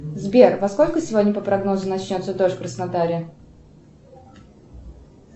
сбер во сколько сегодня по прогнозу начнется дождь в краснодаре